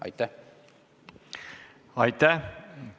Aitäh!